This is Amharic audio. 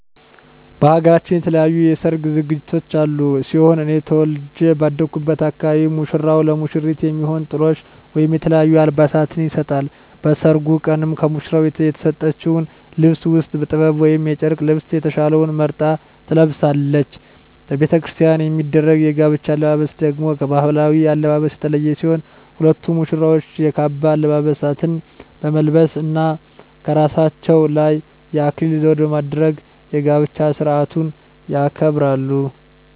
በሃገራችን የተለያዩ የሰርግ ዝግጅቶች ያሉ ሲሆን እኔ ተወልጀ ባደኩበት አካባቢ ሙሽራው ለሙሽሪት የሚሆን ጥሎሽ ወይም የተለያዩ አልባሳትን ይሰጣል። በሰርጉ ቀንም ከሙሽራው የተሰጠችውን ልብስ ውስጥ ጥበብ ወይም የጨርቅ ልብሰ የተሻለውን መርጣ ትለብሳለች። በቤተክርስቲያን የሚደረግ የጋብቻ አለባበስ ደግሞ ከባህላዊው አለባበስ የተለየ ሲሆን ሁለቱም ሙሽራዎች የካባ አልባሳትን በመልበስ እና ከራሳቸው ላይ የአክሊል ዘውድ በማድረግ የጋብቻ ስርአቱን ያከብራሉ።